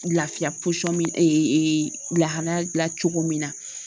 Lafiya min ee lahalaya la cogo min na